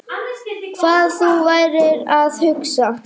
Hvað þú værir að hugsa.